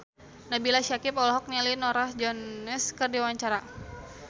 Nabila Syakieb olohok ningali Norah Jones keur diwawancara